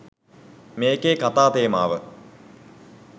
මේකේ කතා තේමාව.